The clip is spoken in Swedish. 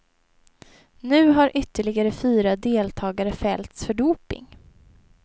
Nu har ytterligare fyra deltagare fällts för doping.